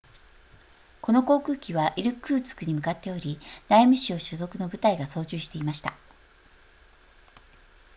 この航空機はイルクーツクに向かっており内務省所属の部隊が操縦していました